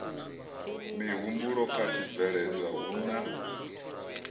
mihumbulo kha tshibveledzwa hu na